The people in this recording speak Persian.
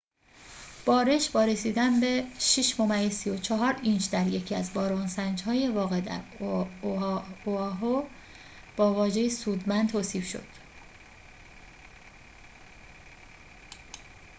بارش با رسیدن به ۶.۳۴ اینچ در یکی از باران‌سنج‌های واقع در اوآهو با واژه سودمند توصیف شد